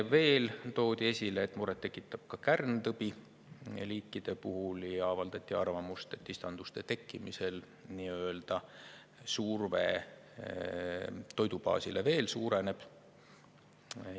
Veel toodi esile, et muret tekitab ka kärntõbi,, ja avaldati arvamust, et istanduste tekkimisel nii-öelda surve toidubaasile veel suureneb.